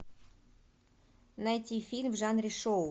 найти фильм в жанре шоу